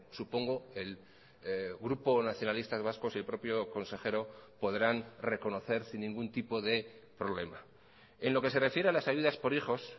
supongo el grupo nacionalistas vascos y el propio consejero podrán reconocer sin ningún tipo de problema en lo que se refiere a las ayudas por hijos